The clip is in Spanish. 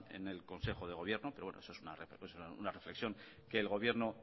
en el consejo de gobierno pero bueno es una reflexión que el gobierno